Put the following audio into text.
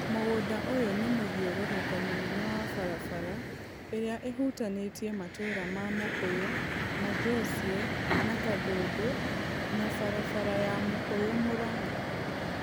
Mũgũnda ũyũ nĩ mũthiũrũrũko mũnene wa barabara ĩrĩa ĩhutanĩtie matuura ma Mukuyu, Majocye na Kandundu na barabara ya Mukuyu-Murang 'a